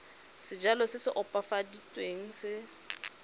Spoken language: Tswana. sejalo se se opafaditsweng se